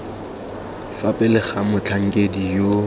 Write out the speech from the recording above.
fa pele ga motlhankedi yo